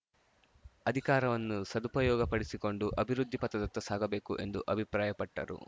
ಅಧಿಕಾರವನ್ನು ಸದುಪಯೋಗಪಡಿಸಿಕೊಂಡು ಅಭಿವೃದ್ಧಿ ಪಥದತ್ತ ಸಾಗಬೇಕು ಎಂದು ಅಭಿಪ್ರಾಯಪಟ್ಟರು